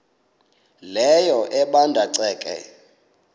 leyo ebanda ceke